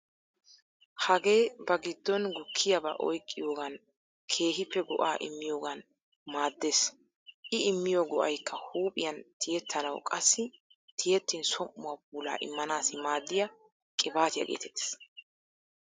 Hage ba giddon gukkiyaba oyqqiyogan keehippe go'aa immiyogan maaddeees.I immiyo go'aykka huuphiyan tiyattanawu qassi tiyettin som"uwa puulaa immanaassi maaddiya qiibaatiyaa geetettees.